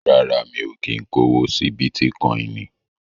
Rárá, mi ò kí ń kówó sí Bítíkọinì.